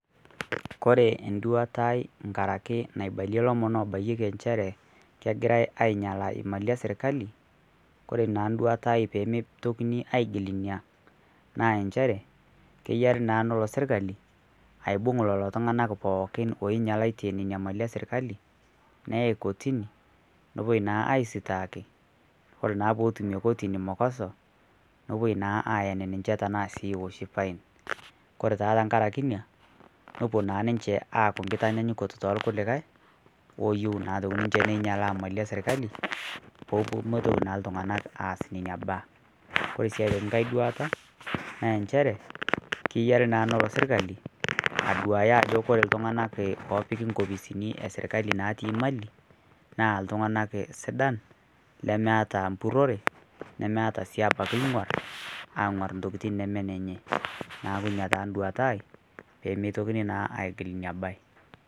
Kore nduatai nkaaraki naibaalie lomoon obayieki encherre kegirai ainyalaa imali e sirkali. Kore naa nduatai pee meitokini agiil nia naa encherre keyaari naa neloo sirkali aibung' leloo ltung'ana pookin onyalatie nenia imali e sirkali neai kortini nopooi naa aisitaaki. Kore naa pee etumie kortini mokoso nepoo naa ayaani ninnchee tana naa eoshii fine. Kore taa tang'araki enia nopoo naa ninchee aaku nkitanyayuko to nkulikai ooyou naa atoki ninchee neyaalaa imali e sirkali pee meitoki naa ltung'ana aas nenia mbaa. Kore sii atokii nkaai duata naa ncheere keyaari naa naloo sirkali aduaya naa ajoo kore ltung'anak opiiki nkofisini e sirkali natii imali naa ltung'anak sidaan lemeata mpurore nemeata sii abaki ng'orr aing'orr ntokitin nemee nenyee. Naa nia taa nduatai pee metookini aijiil nenia bayi